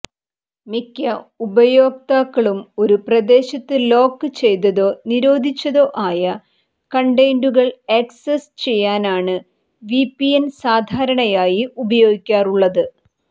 മിക്ക ഉപയോക്താക്കളും ഒരു പ്രദേശത്ത് ലോക്ക് ചെയ്തതോ നിരോധിച്ചതോ ആയ കണ്ടന്റുകൾ ആക്സസ് ചെയ്യാനാണ് വിപിഎൻ സാധാരണയായി ഉപയോഗിക്കാറുള്ളത്